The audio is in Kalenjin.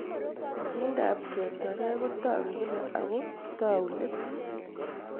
Pichindo ab ketwakei ko tag'u kila ako tau let